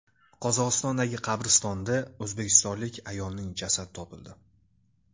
Qozog‘istondagi qabristonda o‘zbekistonlik ayolning jasadi topildi.